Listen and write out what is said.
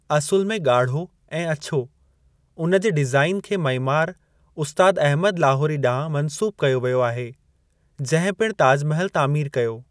असुलु में ॻाढ़ो ऐं अछो, उन जे डीज़ाइन खे मइमार उस्तादु अहमद लाहोरी ॾांहुं मंसूब कयो व्यो आहे, जंहिं पिणु ताजु महिल तामीर कयो।